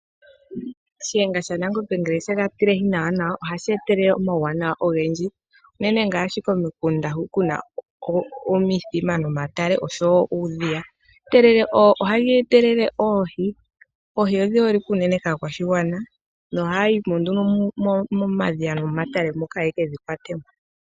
Shiyenga sha Nangombe ngele shega tilehi nawa nawa ohashi etelele omauwanawa ogendji unene ngaashi komikunda hu kuna omithima momatale oshowo uudhiya, ohayi etelele oohi, oohi odhi holike unene kaakwashigwana no haya yimo nduno momadhiya nomomatale moka yekedhi kwate mo.